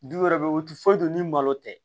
Du wɛrɛ bɛ yen o ti foyi dɔn ni malo tɛ